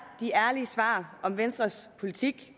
de ærlige svar om venstres politik